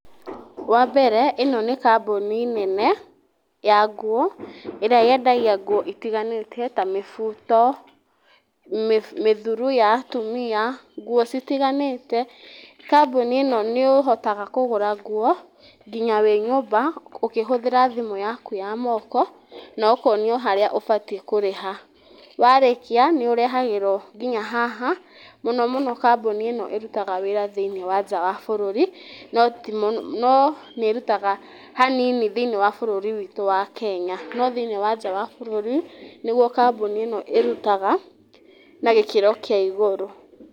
Wambere ĩno nĩ kambuni nene ya nguo ĩrĩa yendagia nguo itiganĩte ta nguo na mĩbuto, mĩthuru ya atumia nguo citiganite, bkambuni ĩno nĩ ĩhotaga kũgũra nguo nginya wĩ nyũmba ũkĩhũthĩra thimũ yaku ya moko, na ũkonio harĩa ũbatiĩ kũrĩha, warĩkia nĩ ũrehagĩrwo nginya haha, mũno mũno kambuni ĩno ĩrutaga wĩra thĩiniĩ wa nja ya bũrũri, no nĩ ĩrutaga hanini thĩiniĩ wa bũrũri witũ wa Kenya, no thĩiniĩ wa nja wa bũrũri nĩguo kambuni ĩno ĩrutaga na gĩkĩro kĩa igũrũ.